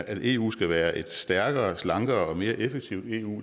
at eu skal være et stærkere slankere og mere effektivt eu